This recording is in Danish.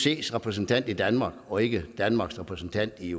iocs repræsentant i danmark og ikke danmarks repræsentant i